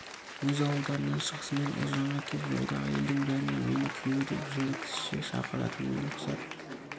өз ауылдарынан шығысымен ұлжанға кеп жолдағы елдің бәріне мен күйеу деп жынды кісіше шақыратыным не рұхсат